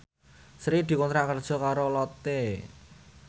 Sri dikontrak kerja karo Lotte